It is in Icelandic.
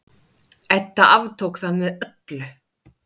Edda aftók það með öllu.